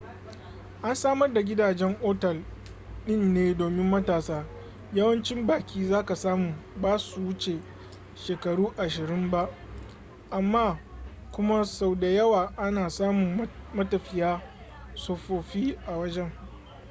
an samar da gidajen otal din ne domin matasa yawancin baki zaka samu basu wuce shekaru ashirin ba amma kuma sau da yawa ana samun matafiya tsofaffi a wajen